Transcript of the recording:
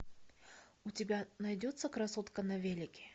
у тебя найдется красотка на велике